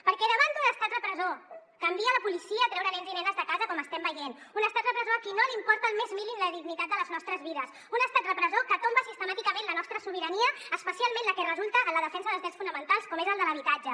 perquè davant d’un estat repressor que envia la policia a treure nens i nenes de casa com estem veient un estat repressor a qui no li importa el més mínim la digni·tat de les nostres vides un estat repressor que tomba sistemàticament la nostra sobi·rania especialment la que resulta en la defensa dels drets fonamentals com és el de l’habitatge